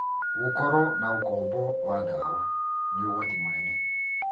Gũkorwo na ũkombo wa ndawa nĩ ũgwati mũnene.